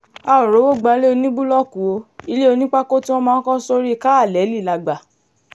a ò rówó gbalẹ̀ oníbúlọ́ọ̀kù o ilẹ̀ onípákó tí wọ́n máa ń kọ́ sórí káàlẹ́lì la gbà